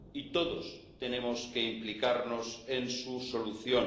Y todos tenemos que implicarnos en su solución.